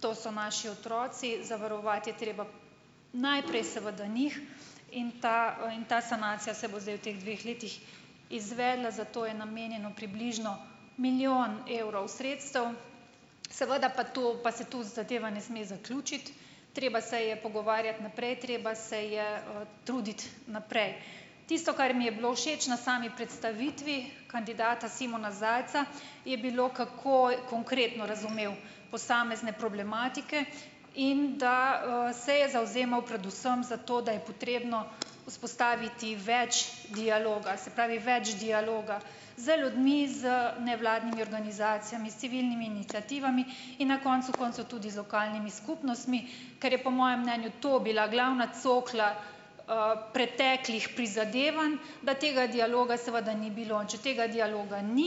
to so naši otroci. Zavarovati je treba najprej seveda njih in ta, in ta sanacija se bo zdaj v teh dveh letih izvedla, za to je namenjeno približno milijon evrov sredstev, seveda pa to, pa se tu zadeva ne sme zaključiti, treba se je pogovarjati naprej, treba se je, truditi naprej. Tisto, kar mi je bilo všeč na sami predstavitvi kandidata Simona Zajca, je bilo, kako konkretno razumel posamezne problematike in, da, se je zavzemal predvsem za to, da je potrebno vzpostaviti več dialoga, se pravi, več dialoga z ljudmi, z nevladnimi organizacijami , s civilnimi iniciativami in na koncu koncev tudi z lokalnimi skupnostmi, kar je po mojem mnenju to bila glavna cokla, preteklih prizadevanj, da tega dialoga seveda ni bilo, če tega dialoga ni,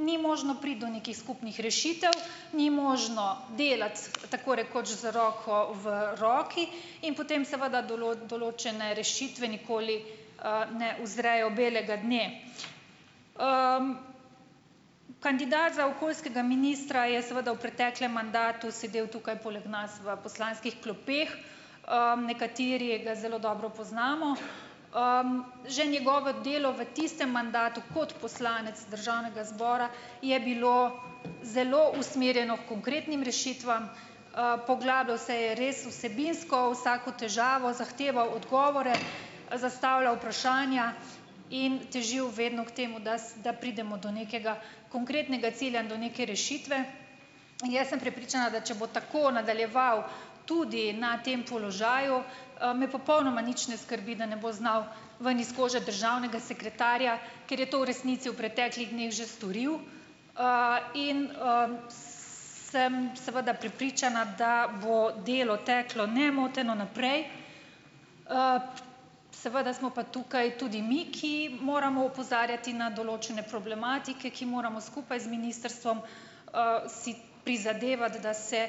ni možno priti do nekih skupnih rešitev , ni možno delati, tako rekoč z roko v roki in potem seveda določene rešitve nikoli, ne uzrejo belega dne. kandidat za okoljskega ministra je seveda v preteklem mandatu sedel tukaj poleg nas v poslanskih klopeh, nekateri ga zelo dobro poznamo . že njegovo delo v tistem mandatu kot poslanec državnega zbora je bilo zelo usmerjeno h konkretnim rešitvam, poglabljal se je res vsebinsko v vsako težavo, zahteval odgovore , zastavljal vprašanja in težil vedno k temu, da pridemo do nekega konkretnega cilja in do neke rešitve. Jaz sem prepričana, da če bo tako nadaljeval tudi na tem položaju, me popolnoma nič ne skrbi, da ne bo znal ven iz kože državnega sekretarja, ker je to v resnici v preteklih dneh že storil, in, sem seveda prepričana, da bo delo teklo nemoteno naprej, seveda smo pa tukaj tudi mi, ki moramo opozarjati na določene problematike, ki moramo skupaj z ministrstvom, si prizadevati, da se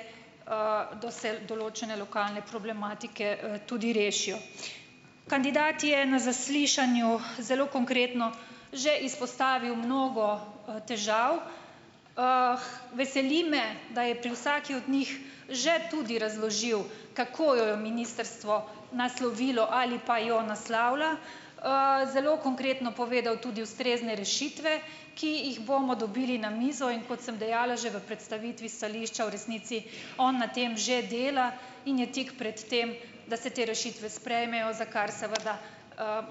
določene lokalne problematike, tudi rešijo. Kandidat je na zaslišanju, zelo konkretno že izpostavil mnogo, težav. veseli me, da je pri vsaki od njih že tudi razložil, kako jo je ministrstvo naslovilo ali pa jo naslavlja. zelo konkretno povedal tudi ustrezne rešitve, ki jih bomo dobili na mizo, in kot sem dejala že v predstavitvi stališča, v resnici on na tem že dela in je tik pred tem, da se te rešitve sprejmejo, za kar seveda,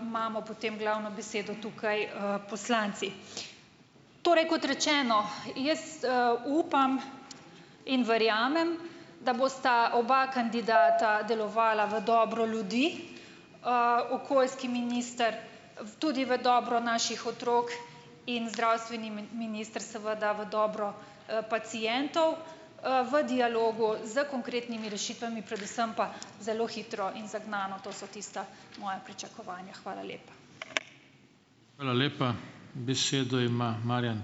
imamo potem glavno besedo tukaj, poslanci. Torej kot rečeno, jaz, upam in verjamem, da bosta oba kandidata delovala v dobro ljudi. okoljski minister tudi v dobro naših otrok in zdravstveni minister seveda v dobro, pacientov, v dialogu s konkretnimi rešitvami, predvsem pa zelo hitro in zagnano, to so tista moja pričakovanja. Hvala lepa. Hvala lepa. Besedo ima Marjan ...